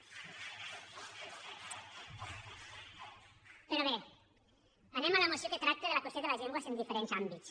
però bé anem a la moció que tracta de la qüestió de les llengües en diferents àmbits